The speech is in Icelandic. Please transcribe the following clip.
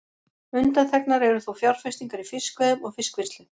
Undanþegnar eru þó fjárfestingar í fiskveiðum og fiskvinnslu.